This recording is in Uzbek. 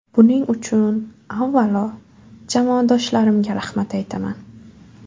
Buning uchun, avvalo, jamoadoshlarimga rahmat aytaman.